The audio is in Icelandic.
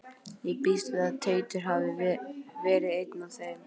Ég býst við að Teitur hafi verið einn af þeim.